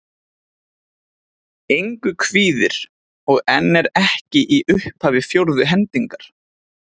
Engu kvíðir. og en er ekki í upphafi fjórðu hendingar.